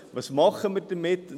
Was machen wir damit?